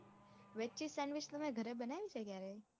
Veg cheese sandwich તો મેં ગરે બનાઈ છે ક્યારે?